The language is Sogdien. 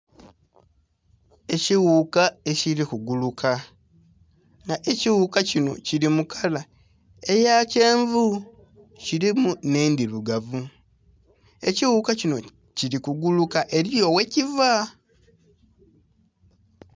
Ekighuka ekili ku guuluka nga ekighuka kinho kili mu kala eya kyenvu kilimu nhe endhirugavu ekighuka kinho kili kuguuka eriyo ye kivaa..